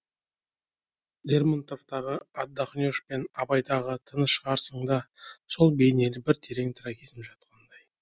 лермонтовтағы отдохнешь пен абайдағы тыншығарсыңда сол бейнелі бір терең трагизм жатқандай